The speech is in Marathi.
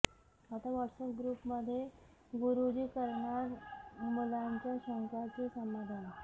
आता व्हॉटसऍप ग्रुपमध्ये गुरुजी करणार मुलांच्या शंकांचे समाधान